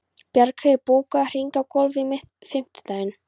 Bjargheiður, bókaðu hring í golf á fimmtudaginn.